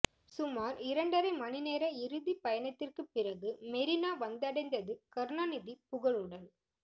சுமார் இரண்டரை மணி நேர இறுதி பயணத்திற்கு பிறகு மெரினா வந்தடைந்தது கருணாநிதி புகழுடல்